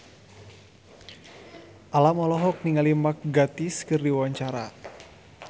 Alam olohok ningali Mark Gatiss keur diwawancara